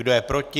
Kdo je proti?